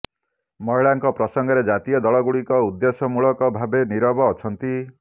ମହିଳାଙ୍କ ପ୍ରସଙ୍ଗରେ ଜାତୀୟ ଦଳ ଗୁଡ଼ିକ ଉଦ୍ଦେଶ୍ୟମୂଳକ ଭାବେ ନିରବ ଅଛନ୍ତି